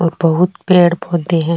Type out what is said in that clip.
और बहुत पेड़ पौधे है।